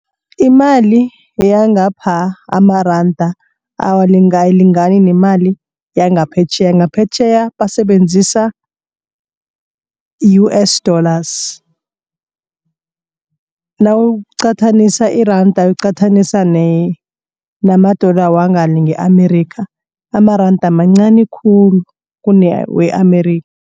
Imali yangapha amaranda awalingalingani nemali yangaphetjheya, ngaphetjheya basebenzisa U_S dollars. Nawuqathanisa iranda uliqathanisa nama-dollar wangale nge-Amerika, amaranda mancani khulu kunewe-Amerika